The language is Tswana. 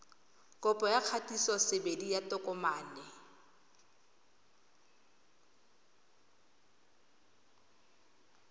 kopo ya kgatisosebedi ya tokomane